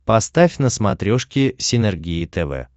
поставь на смотрешке синергия тв